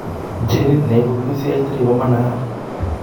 Genit neibu PCH3 komanaiyaat